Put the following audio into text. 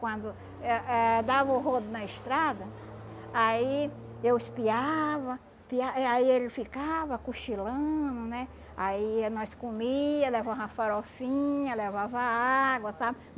Quando eh eh dava o rodo na estrada, aí eu espiava piá aí ele ficava cochilando, né, aí nós comia, levava uma farofinha, levava água, sabe?